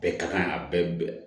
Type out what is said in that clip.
Bɛɛ ka kan a bɛɛ